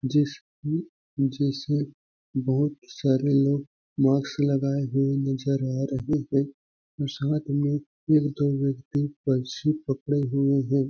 जिसमें जिसे बहुत सारे लोग मास्क लगाए हुए नजर आ रहे है उस हाथ में यह दो व्यक्ति पक्षी पकड़े हुए हैं।